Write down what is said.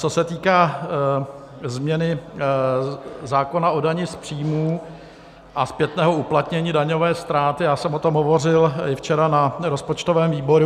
Co se týká změny zákona o dani z příjmů a zpětného uplatnění daňové ztráty, já jsem o tom hovořil i včera na rozpočtovém výboru.